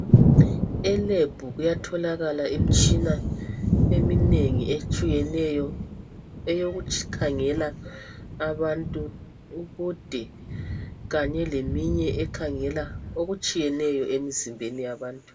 Elebhu kuyatholakala imtshina eminengi etshiyeneyo eyokukhangela abantu ubude kanye leminye ekhangela okutshiyeneyo emzimbeni yabantu.